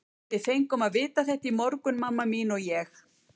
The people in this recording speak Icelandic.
Við fengum að vita þetta í morgun, mamma þín og ég.